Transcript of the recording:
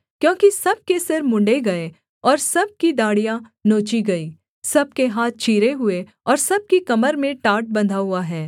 क्योंकि सब के सिर मुँण्ड़े गए और सब की दाढ़ियाँ नोची गई सब के हाथ चीरे हुए और सब की कमर में टाट बन्धा हुआ है